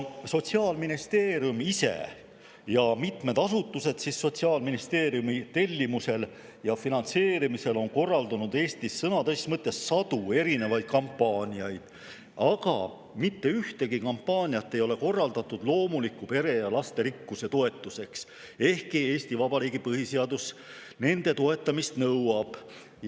Sotsiaalministeerium ise ja mitmed asutused on ministeeriumi tellimusel ja finantseerimisel korraldanud Eestis sõna tõsises mõttes sadu erinevaid kampaaniaid, aga mitte ühtegi neist ei ole korraldatud loomulike perede ja lasterikkuse toetuseks, ehkki Eesti Vabariigi põhiseadus nende toetamist nõuab.